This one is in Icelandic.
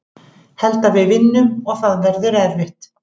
Held við vinnum og það verður erfitt.